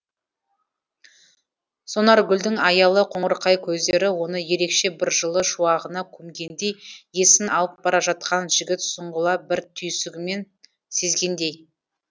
сонаргүлдің аялы қоңырқай көздері оны ерекше бір жылы шуағына көмгендей есін алып бара жатқанын жігіт сұңғыла бір түйсігімен сезгендей